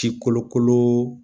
Ci kolo kolo